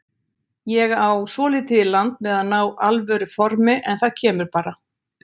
Ég á svolítið í land með að ná alvöru formi en það kemur bara.